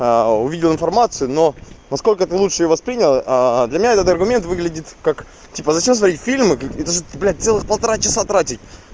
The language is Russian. а увидел информацию но на сколько ты лучше воспринял для меня этот аргумент выглядит как типа зачем смотреть фильм это же блядь целых полтора часа тратить